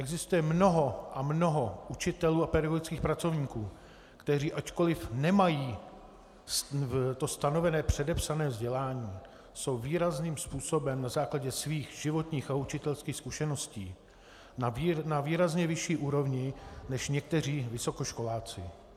Existuje mnoho a mnoho učitelů a pedagogických pracovníků, kteří ačkoliv nemají to stanovené předepsané vzdělání, jsou výrazným způsobem na základě svých životních a učitelských zkušeností na výrazně vyšší úrovni než někteří vysokoškoláci.